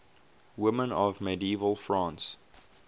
women of medieval france